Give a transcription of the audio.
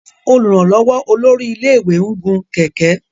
olùrànlówó olórí ilé ìwé ń gun kẹ̀kẹ́